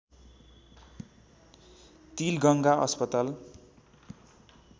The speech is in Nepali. तिलगङ्गा अस्पताल